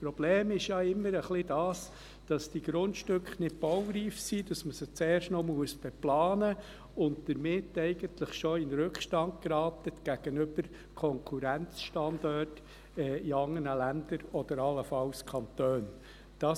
Das Problem ist ja immer ein wenig, dass die Grundstücke nicht baureif sind, dass man sie zuerst noch beplanen muss und damit eigentlich schon in Rückstand gegenüber Konkurrenzstandorten in anderen Ländern oder allenfalls Kantonen gerät.